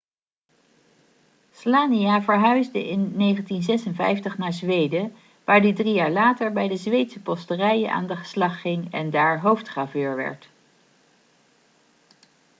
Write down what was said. słania verhuisde in 1956 naar zweden waar hij drie jaar later bij de zweedse posterijen aan de slag ging en daar hoofdgraveur werd